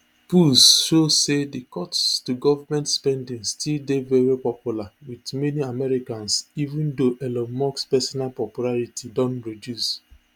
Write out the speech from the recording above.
polls show say di cuts to government spending still dey very popular wit many americans even though elon musk personal popularity don reduce